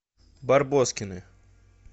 барбоскины